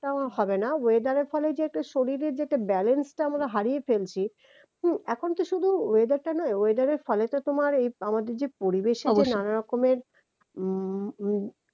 টাও হবে না weather এর ফলে যে শরীরে যে একটা balance টা আমরা হারিয়ে ফেলছি হম এখন কি শুধু weather টা না weather এর ফলে তো তোমার আমাদের যে পরিবেশ নানা রকমের উম